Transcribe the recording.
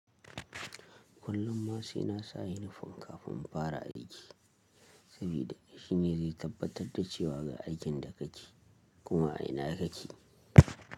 Kullum ma sai na sa unifom kafin in fara aiki, sabida shine zai tabbatar da cewa ga aikin da kake, kuma.